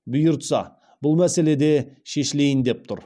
бұйыртса бұл мәселе де шешілейін деп тұр